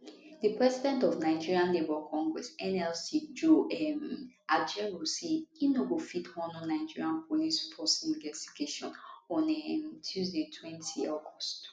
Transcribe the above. di president of nigeria labour congress nlc joe um ajaero say im no go fit honour nigeria police force investigation on um tuesdaytwentyaugust